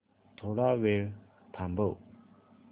थोडा वेळ थांबव